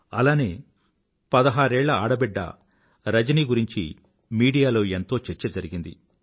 అలానే పదహారేళ్ల ఆడబిడ్డ రజని గురించి మీడియాలో ఎంతో చర్చ జరిగింది